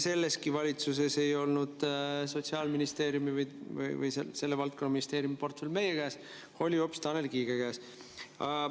Selleski valitsuses ei olnud Sotsiaalministeerium või selle valdkonna ministri portfell meie käes, oli hoopis Tanel Kiige käes.